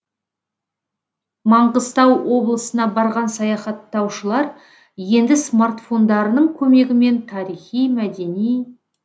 маңғыстау облысына барған саяхаттаушылар енді смартфондарының көмегімен тарихи мәдени